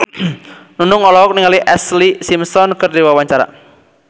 Nunung olohok ningali Ashlee Simpson keur diwawancara